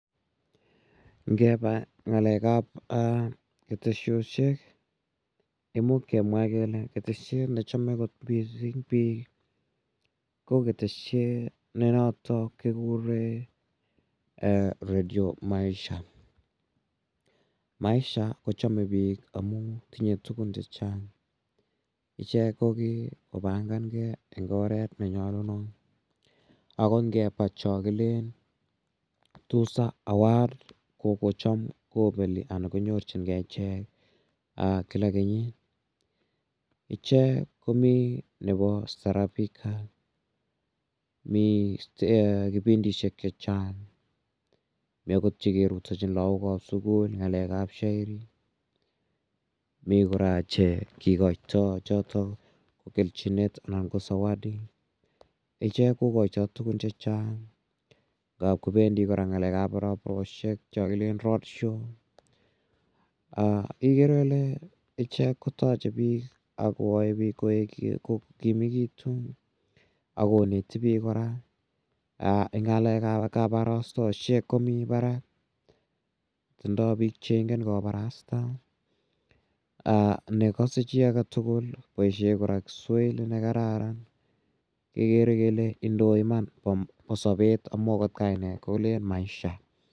Ngepa ng'alek ap keteshoshek ko imuch kemwa kele keteshet ne chame missing' kot piik ko keteshet ne notok kikure Radio Maisha. Maisha ko chame piik amun tinye tugun che chang'. Ichek ko kikopangan gei eng' oret ne nyalunotot. Ako ngepa chon kilen Tuza Award kopeli anan konyorchingei ichek kila kenyit. Ichek komi nepo staharabika. Mi kipindishek che chang'. Mi agot che kerutachin lagok ap sukul ng'alek ap shairi, mi kora chr kikaitai chotok kelchinet anan ko zawadi. Ichek kokaitai tugun che chang'. Ngap kopendi kora ngap kopendi kora ng'alek ap raproshek cha kilen road show ikere ile ichek kotache piik ak koyae piik ko kimegitu ak koneti piik kora. Eng' ng'alek ap kaparasatoshek komi parak. Tiindai piik che ingen koparasta ne kase chi age tu kopaishe Kiswahili ne kararan kekere kele indoi iman ko sapet amun agot en kainet kolen maisha.